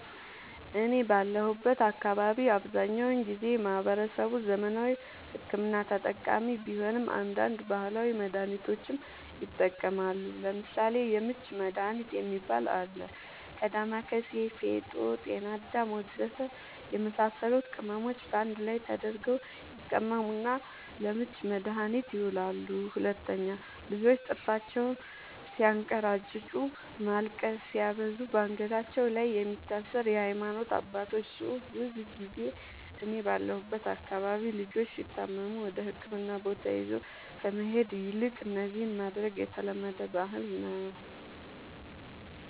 እኔ ባለሁበት አካባቢ አብዛኛውን ጊዜ ማህበረሰቡ ዘመናዊ ሕክምና ተጠቃሚ ቢሆንም አንዳንድ ባህላዊ መድሃኒቶችንም ይጠቀማሉ ለምሳሌ:- የምች መድሃኒት የሚባል አለ ከ ዳማከሲ ፌጦ ጤናአዳም ወዘተ የመሳሰሉት ቅመሞች ባንድ ላይ ተደርገው ይቀመሙና ለምች መድኃኒትነት ይውላሉ 2, ልጆች ጥርሳቸውን ስያንከራጭጩ ማልቀስ ሲያበዙ ባንገታቸው ላይ የሚታሰር የሃይማኖት አባቶች ፅሁፍ ብዙ ጊዜ እኔ ባለሁበት አካባቢ ልጆች ሲታመሙ ወደህክምና ቦታ ይዞ ከመሄድ ይልቅ እነዚህን ማድረግ የተለመደ ባህል ነዉ